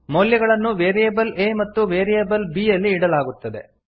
ಮೌಲ್ಯಗಳನ್ನು variable a ಮತ್ತು variable b ಯಲ್ಲಿ ಇಡಲಾಗುತ್ತದೆ